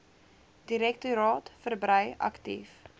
direktoraat verbrei aktief